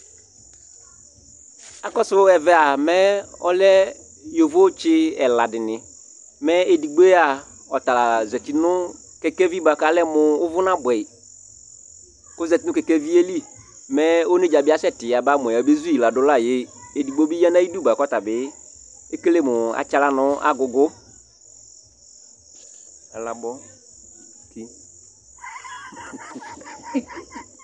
Akɔsʋ ɛvɛ a, mɛ ɔlɛ yovotsɩ ɛla dɩnɩ, mɛ edigbo yɛ a, ɔta la zati nʋ kɛkɛvi bʋa kʋ alɛ mʋ ʋvʋ nabʋɛ yɩ kʋ ɔzati nʋ kɛkɛvi yɛ li, mɛ onedzǝ bɩ asɛtɩ yaba mʋ ɔyabezu yɩ ladʋ la yɛ Edigbo bɩ ya nʋ ayidu bʋa kʋ ɔta bɩ ekele mʋ atsɩ aɣla nʋ agʋgʋ, alabɔ ki